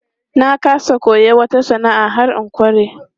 Na ƙasa koyon wata sana'a har in ƙware.